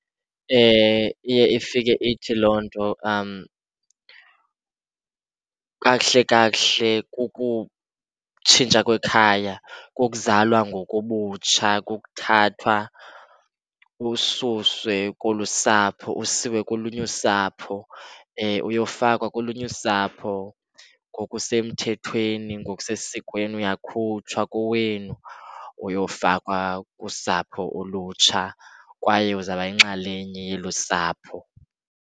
Iye ifike ithi loo nto kakuhle kakuhle kukutshintsha kwekhaya, kukuzalwa ngokobutsha, kukuthathwa ususwe kolu usapho usiwe kolunye usapho, uyofakwa kolunye usapho ngokusemthethweni, ngokusesikweni. Uyakhutshwa kowenu, uyofakwa kusapho olutsha. Kwaye uzawuba yinxalenye yelo usapho.